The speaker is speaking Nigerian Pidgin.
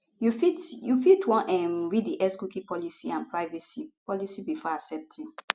you fit you fit wan um read di xcookie policyandprivacy policybefore accepting